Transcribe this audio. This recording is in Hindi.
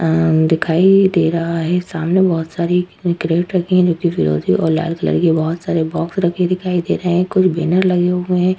आ दिखाई दे रहा है सामने बहुत सारी कैरेट रखी है जोकि फिरोजी और लाल कलर की बहुत सारे बॉक्स रखे दिखाई दे रहे है कुछ बैनर लगे हुए हैं।